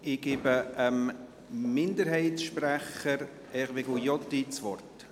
Ich gebe dem Minderheitssprecher Hervé Gullotti das Wort.